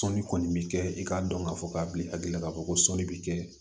Sɔnni kɔni bɛ kɛ i k'a dɔn k'a fɔ k'a bi hakili la k'a fɔ ko sɔni bi kɛ